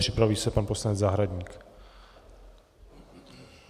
Připraví se pan poslanec Zahradník.